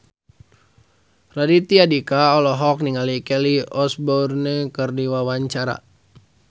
Raditya Dika olohok ningali Kelly Osbourne keur diwawancara